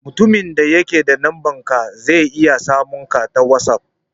Mutumin da ke da numbanka zai iya samun ka ta whatsapp.